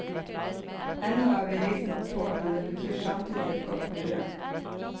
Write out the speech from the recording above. Ennå er vi riktignok få, men det betyr samtidig et godt miljø.